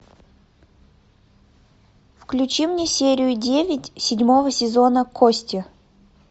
включи мне серию девять седьмого сезона кости